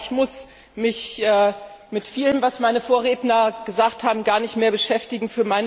Ich muss mich mit vielem, was meine Vorredner gesagt haben, gar nicht mehr beschäftigen.